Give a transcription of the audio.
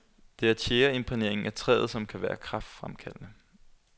Det er tjæreimprægneringen af træet, som kan være kræftfremkaldende.